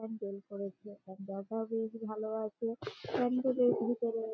প্যান্ডেল করেছে ভালো আছে । প্যান্ডেল এর ভিতরে--